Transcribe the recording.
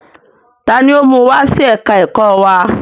Taani ó mú wá sí ẹ̀ka ẹ̀kọ́ wa?